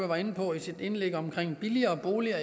var inde på i sit indlæg omkring billigere boliger